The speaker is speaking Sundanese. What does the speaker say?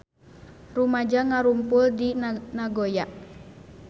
Rumaja ngarumpul di Nagoya